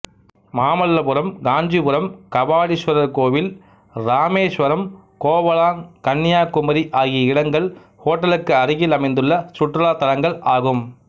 மாமல்லபுரம் காஞ்சிபுரம் கபாலீஸ்வரர் கோவில் இராமேஸ்வரம் கோவலாங்க் கன்னியாகுமரி ஆகிய இடங்கள் ஹோட்டலுக்கு அருகில் அமைந்துள்ள சுற்றுலாத் தலங்கள் ஆகும்